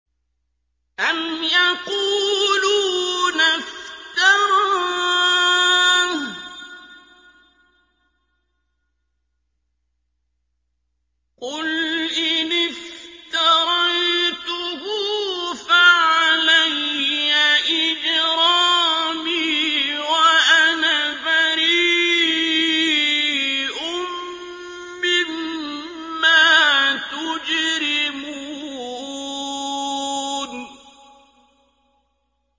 أَمْ يَقُولُونَ افْتَرَاهُ ۖ قُلْ إِنِ افْتَرَيْتُهُ فَعَلَيَّ إِجْرَامِي وَأَنَا بَرِيءٌ مِّمَّا تُجْرِمُونَ